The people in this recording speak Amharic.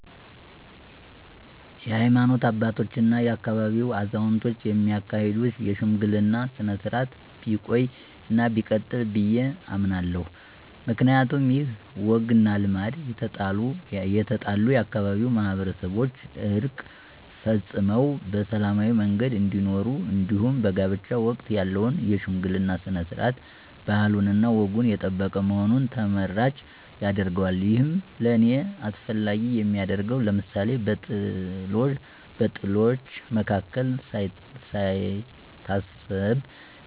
የሀይማኖት አባቶች እና የአካባቢው አዛውንቶች የሚያካሂዱትን የሽምግልና ስነ-ስርዓት ቢቆይ እና ቢቀጥል ብዬ እመኛለሁ። ምክንያቱም ይህ ወግ እና ልማድ የተጣሉ የአካባቢው ማህበረሰቦችን ዕርቅ ፈፅመው በሰላማዊ መንገድ እንዲኖሩ እንዲሁም በጋብቻ ወቅት ያለው የሽምግልና ስነ-ስርዓት ባህሉንና ወጉን የጠበቀ በመሆኑ ተመራጭ ያደርገዋል። ይህም ለእኔ አስፈላጊ የሚያደርገው ለምሳሌ፦ በጥሎች መካከል ሳይታሰብ